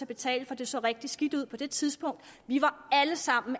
betale for det så rigtig skidt ud på det tidspunkt vi var alle sammen